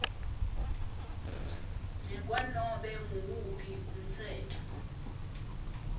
ngekwanobe nguwuphi umtsetfo